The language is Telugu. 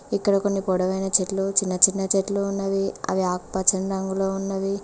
ఇక్కడ కొన్ని పొడవైన చెట్లు చిన్న చిన్న చెట్లు ఉన్నవి అవి ఆకుపచ్చని రంగులో ఉన్నవి.